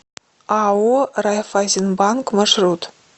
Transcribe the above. ао райффайзенбанк маршрут